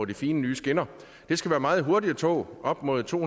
de fine nye skinner det skal være meget hurtige tog op mod to